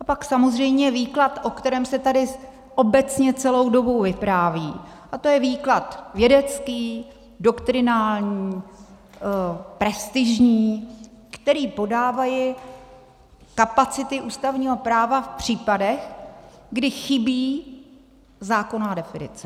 A pak samozřejmě výklad, o kterém se tady obecně celou dobu vypráví, a to je výklad vědecký, doktrinální, prestižní, který podávají kapacity ústavního práva v případech, kdy chybí zákonná definice.